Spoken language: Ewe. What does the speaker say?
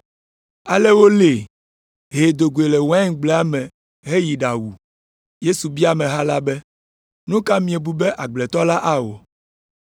Ale wolée, hee do goe le waingblea me heyi ɖawu.” Yesu bia ameha la be, “Nu ka miebu be agbletɔ la awɔ?